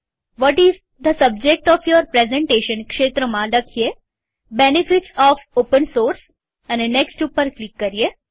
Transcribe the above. vote is the subject of your presentation ક્ષેત્રમાં લખીએ benefits of open source next ઉપર click કરીએ